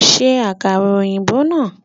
Ṣe àkàrà ọ̀yìnbó náà!